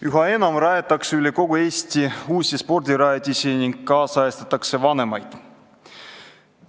Üha enam rajatakse üle kogu Eesti uusi spordirajatisi ning nüüdisajastatakse vanemaid.